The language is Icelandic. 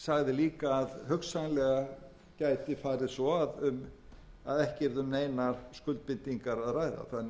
líka að hugsanlega gæti farið svo að ekki yrði um neinar skuldbindingar að ræða þannig að